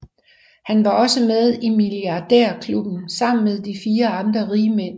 Han var også med i milliardærklubben sammen med fire andre rigmænd